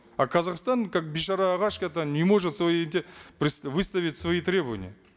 а казахстан как бейшара ағашка это не может свои эти выставить свои требования